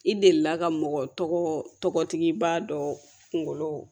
I delila ka mɔgɔ tɔgɔ tɔgɔtigibaa dɔ kunkolo